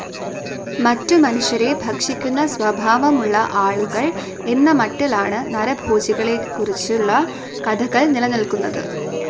മറ്റ് മനുഷ്യരെ ഭക്ഷിക്കുന്ന സ്വഭാവമുള്ള ആളുകൾ എന്ന മട്ടിലാണ് നരഭോജികളെക്കുറിച്ചുള്ള കഥകൾ നിലനിൽക്കുന്നത്.